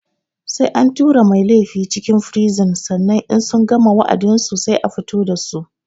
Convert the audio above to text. Sai an tura mai laifi cikin firizin sannan in sun gama wa'adinsu sai a fito dasu